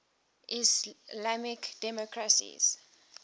islamic democracies